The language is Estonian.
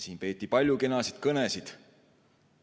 Siin peeti palju kenasid kõnesid.